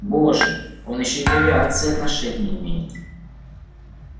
боже он ещё и к авиации отношение имеет